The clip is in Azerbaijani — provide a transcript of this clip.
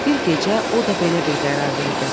Bir gecə o da belə bir qərar verdi.